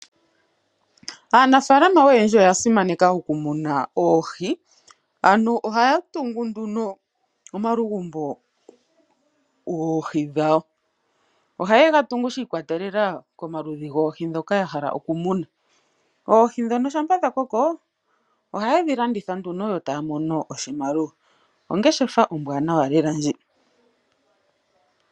Aanafaalama oyendji oya simaneka okumuna oohi. Ano ohaya tungu nduno omalugumbo goohi dhawo. Ohaye ga tungu shi ikwatelela komaludhi goohi ndhoka ya hala okumuna. Oohi ndhono shampa dha koko ohaye dhi landitha nduno yo taa mono oshimaliwa. Ongeshefa ombwaanawa lela ndji.